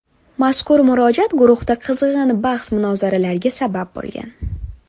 Mazkur murojaat guruhda qizg‘in bahs-munozaralarga sabab bo‘lgan.